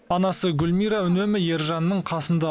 анасы гүлмира үнемі ержанның қасында